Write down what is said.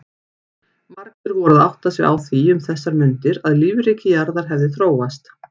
Margir voru að átta sig á því um þessar mundir að lífríki jarðar hefði þróast.